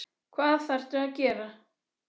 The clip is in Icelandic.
Hvað þarftu að gera?